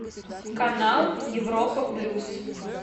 канал европа плюс